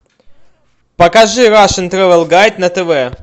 покажи рашен трэвел гайд на тв